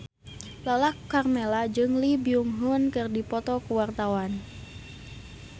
Lala Karmela jeung Lee Byung Hun keur dipoto ku wartawan